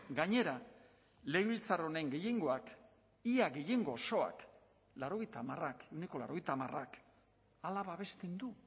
gainera legebiltzar honen gehiengoak ia gehiengo osoak laurogeita hamarak ehuneko laurogeita hamarak hala babesten du